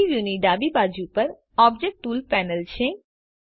3ડી વ્યુની ડાબી બાજુ પર ઓબ્જેક્ટ ટૂલ્સ પેનલ છે